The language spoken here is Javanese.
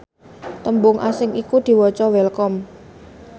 tembung asing iku diwaca welcome